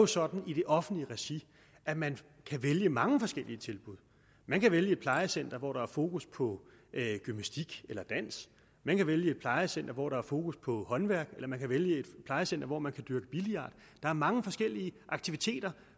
sådan i det offentlige regi at man kan vælge mange forskellige tilbud man kan vælge et plejecenter hvor der er fokus på gymnastik eller dans man kan vælge et plejecenter hvor der er fokus på håndværk eller man kan vælge et plejecenter hvor man kan dyrke billard der er mange forskellige aktiviteter